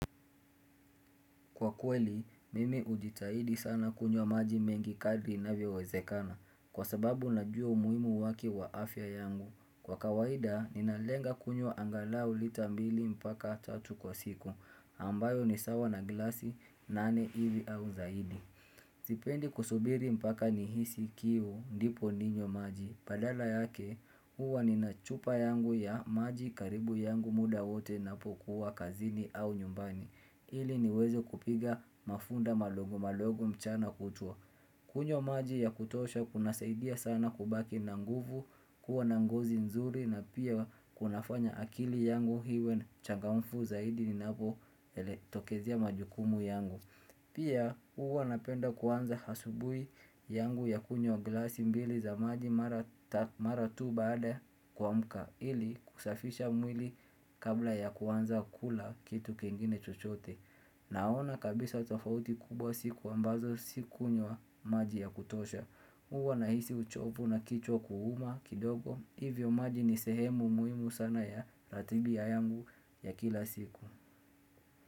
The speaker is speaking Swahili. Kwa kweli, mimi hujitahidi sana kunywa maji mengi kadri inavyowezekana, kwa sababu najua umuhimu wake kwa afya yangu. Kwa kawaida, ninalenga kunywa angalau lita mbili mpaka tatu kwa siku, ambayo ni sawa na glasi, nane hivi au zaidi. Sipendi kusubiri mpaka nihisi kiu, ndipo ninywe maji. Badala yake, huwa nina chupa yangu ya maji karibu yangu muda wote napokuwa kazini au nyumbani. Ili niweze kupiga mafunda madogo madogo mchana kutwa kunywa maji ya kutosha kunasaidia sana kubaki na nguvu kuwa na ngozi nzuri na pia kunafanya akili yangu iwe ni changamfu zaidi inapo ele tokezea majukumu yangu Pia huwa napenda kuanza asubuhi yangu ya kunywa glasi mbili za maji mara ta mara tu baada ya kuamka ili kusafisha mwili kabla ya kuanza kukula kitu kingine chochote Naona kabisa tofauti kubwa siku ambazo si kunywa maji ya kutosha Huwa nahisi uchovu na kichwa kuuma kidogo Hivyo maji ni sehemu muhimu sana ya ratibu ya yangu ya kila siku.